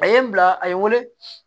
A ye n bila a ye n wele